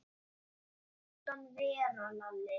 Láttu hann vera, Lalli!